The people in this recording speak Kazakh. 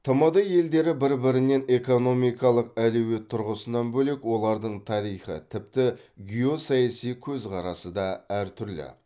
тмд елдері бір бірінен экономикалық әлеует тұрғысынан бөлек олардың тарихи тіпті геосаяси көзқарасы да әртүрлі